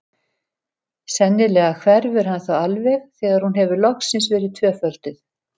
Sennilega hverfur hann þá alveg þegar hún hefur loksins verið tvöfölduð.